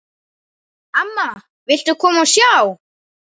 Amma, viltu koma og sjá!